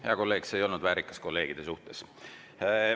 Hea kolleeg, see ei olnud väärikas kolleegide suhtes.